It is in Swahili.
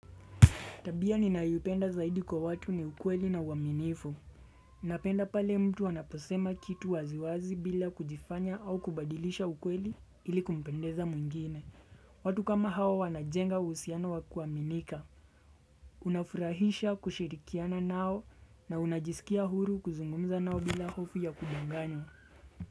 Tabia ninayoipenda zaidi kwa watu ni ukweli na uaminifu. Napenda pale mtu anaposema kitu wazi wazi bila kujifanya au kubadilisha ukweli ili kumpendeza mwengine. Watu kama hawa wanajenga uhusiano wa kuaminika. Unafurahisha kushirikiana nao na unajisikia huru kuzungumza nao bila hofu ya kudanganywa.